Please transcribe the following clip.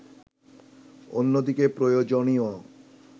অন্যদিকে প্রয়োজনীয়